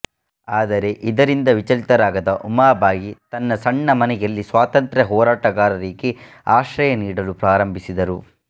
ಆದರೆ ಇದರಿಂದ ವಿಚಲಿತರಾಗದ ಉಮಾಬಾಯಿ ತನ್ನ ಸಣ್ಣ ಮನೆಯಲ್ಲಿ ಸ್ವಾತಂತ್ರ್ಯ ಹೋರಾಟಗಾರರಿಗೆ ಆಶ್ರಯ ನೀಡಲು ಪ್ರಾರಂಭಿಸಿದರು